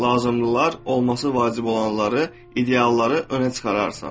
Lazımlılar, olması vacib olanları, idealları önə çıxararsan.